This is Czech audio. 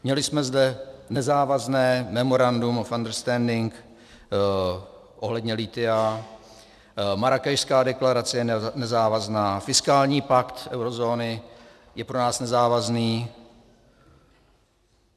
Měli jsme zde nezávazné memorandum of understanding ohledně lithia, Marrákešská deklarace je nezávazná, fiskální pakt eurozóny je pro nás nezávazný.